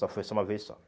Só foi só uma vez só.